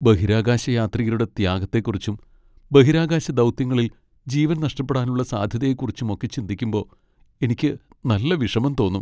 ബഹിരാകാശയാത്രികരുടെ ത്യാഗത്തെക്കുറിച്ചും, ബഹിരാകാശ ദൗത്യങ്ങളിൽ ജീവൻ നഷ്ടപ്പെടാനുള്ള സാധ്യതയെക്കുറിച്ചും ഒക്കെ ചിന്തിക്കുമ്പോ എനിക്ക് നല്ല വിഷമം തോന്നും .